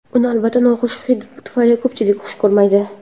Uni albatta noxush hidi tufayli ko‘pchilik xush ko‘rmaydi.